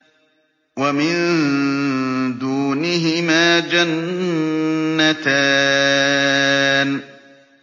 وَمِن دُونِهِمَا جَنَّتَانِ